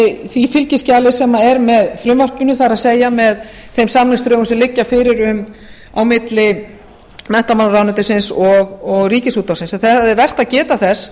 því fylgiskjali sem er með frumvarpinu það er með þeim samningsdrögum sem liggja fyrir milli menntamálaráðuneytisins og ríkisútvarpsins það er vert að geta þess